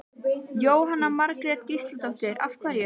Jóhanna Margrét Gísladóttir: Af hverju?